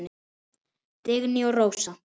Dagný og Rósa.